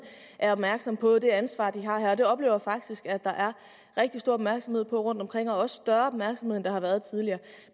er opmærksomme på det ansvar de har her og jeg oplever faktisk at der er rigtig stor opmærksomhed på rundtomkring også større opmærksomhed end der har været tidligere